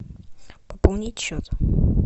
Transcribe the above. пополнить счет